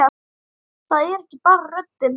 Það er ekki bara röddin.